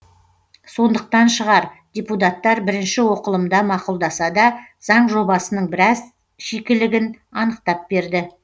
сондықтан шығар депутаттар бірінші оқылымда мақұлдаса да заң жобасының біраз шикілігін анықтап берді